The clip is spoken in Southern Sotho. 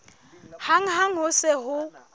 hang ha ho se ho